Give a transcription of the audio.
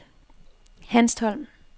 Hanstholm